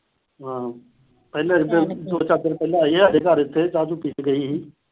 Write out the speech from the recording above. ਹੂੰ। ਪਹਿਲਾਂ ਆਈ ਆ ਘਰ ਇੱਥੇ ਚਾਹ-ਚੂਹ ਪੀ ਕੇ ਗਈ ਸੀ।